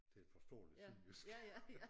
Til et forståeligt sønderjysk